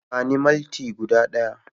Bani malti guda ɗaya